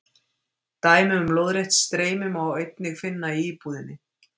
Dæmi um lóðrétt streymi má einnig finna í íbúðinni.